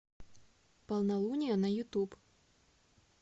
полнолуние на ютуб